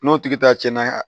N'o tigi ta tiɲɛna